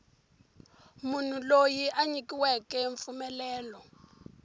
munhu loyi a nyikiweke mpfumelelo